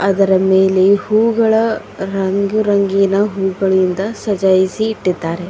ಇದರ ಮೇಲೆ ಹೂಗಳ ರಂಗುರಂಗಿನ ಹೂಗಳಿಂದ ಸಾಜಯಿಸಿ ಇಟ್ಟಿದಾರೆ.